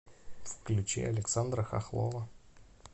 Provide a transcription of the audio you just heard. включи александра хохлова